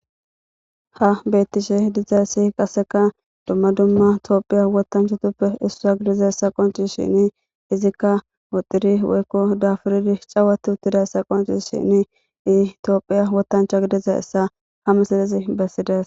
Ha beettishe dizay ssiy qasseka dumma dumma toophiya wotanchatuppe issua gidiza essa qonci shini izikka woxiri woykko dafuridi cawati uttidayessa qoncis shini itoophiya wotancha gidiza essa hamesidezi bessides.